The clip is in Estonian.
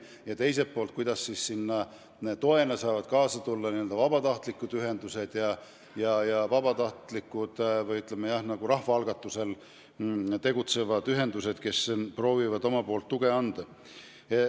Ja teiselt poolt on tähtis, kuidas toena saavad kaasa aidata vabatahtlikud ühendused, ütleme, rahvaalgatusel tegutsevad ühendused, kes proovivad omalt poolt tuge anda.